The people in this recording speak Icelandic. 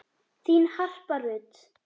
Þín Harpa Rut.